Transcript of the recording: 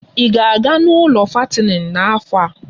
Ị ga-aga n'ụlọ fattening n'afọ a?